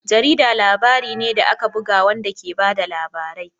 Jarida labari ne da aka buga wanda ke ba da labarai.